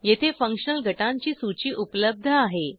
येथे फंक्शनल गटांची सूची उपलब्ध आहे